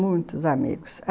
Muitos amigos.